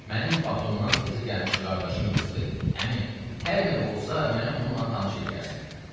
Mənim Batumdan təzə gəlmiş qardaşım qızı dedi: Əmi, hər növ olsa məni onunla tanış eləyərsən.